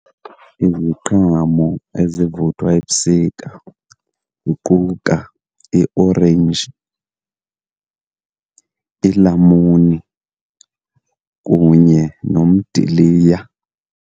Iziqhamo ezivuthwa ebusika ziquka iorenji, ilamuni kunye nomdiliya.